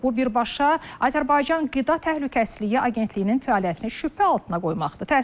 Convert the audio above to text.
Bu birbaşa Azərbaycan qida təhlükəsizliyi agentliyinin fəaliyyətini şübhə altına qoymaqdır.